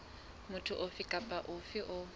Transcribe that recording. motho ofe kapa ofe eo